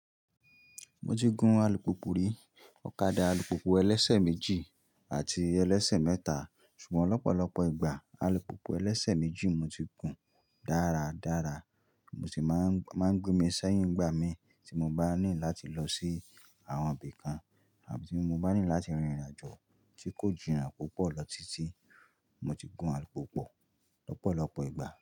Mo ti gún alùpùpù rí, ọ̀kadà alùpùpù ẹlẹ́sẹ̀ méjì àti ẹlẹ́sẹ̀ mẹ́ta, ṣùgbọ́n lọ́pọ̀lọpọ̀ ìgbà alùpùpù ẹlẹ́sẹ̀ méjì mo ti gùn dáradára, mo sì máa ń gbé mi sẹ́yìn ìgbà mi tí mo bá ní láti lọ sí àwọn ibì kan àbí tí mo bá ní láti rìnrìn àjò tí kò jìnnà púpọ̀ lọ títí, mo ti gún alùpùpù lọ́pọ̀lọpọ̀ ìgbà.